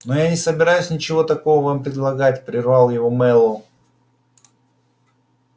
но я не собираюсь ничего такого вам предлагать прервал его мэллоу